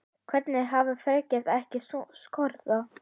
Hvernig hafa Frakkar ekki skorað?